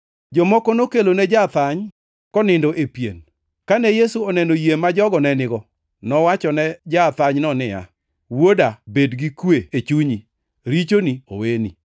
Jomoko nokelone ja-athany, konindo e pien. Kane Yesu oneno yie ma jogo ne nigo, nowachone ja-athanyno niya, “Wuoda, bed gi kwe e chunyi, richoni oweni.”